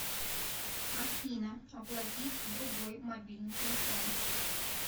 афина оплатить другой мобильный телефон